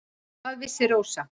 Hvað vissi Rósa.